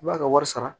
I b'a ka wari sara